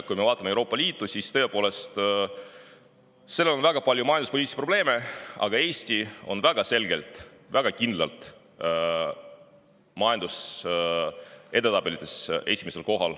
Kui me vaatame Euroopa Liitu, siis näeme seal väga palju majanduspoliitilisi probleeme, aga Eesti on väga selgelt, väga kindlalt majandusedetabelites altpoolt esimesel kohal.